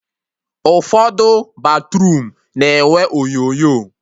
Ụfọdụ batruum na-enwe onyonyo